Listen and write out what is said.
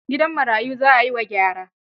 Gidan marayun za a yi wa gyara.